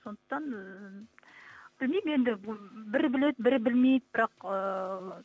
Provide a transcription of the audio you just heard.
сондықтан ыыы білмеймін енді бірі біледі бірі білмейді бірақ ыыы